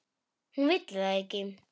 Hún vill það ekki.